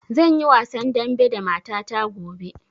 Zan yi wasan dambe da mata ta gobe.